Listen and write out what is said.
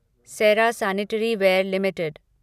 Sera sanitaryware limited